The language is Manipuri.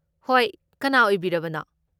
ꯍꯣꯏ꯫ ꯀꯅꯥ ꯑꯣꯏꯕꯤꯔꯕꯅꯣ?